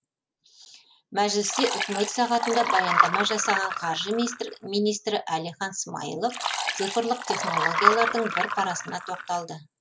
мәжілісте үкімет сағатында баяндама жасаған қаржы министрі әлихан смайылов цифрлық технологиялардың бір парасына тоқталды